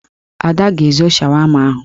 Ada ga-ezo shawama ahụ